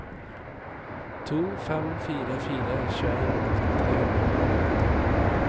to fem fire fire tjueen åtte hundre og elleve